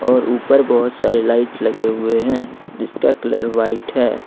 और ऊपर बहुत सारे लाइट लगे हुए हैं जिसका कलर व्हाइट है।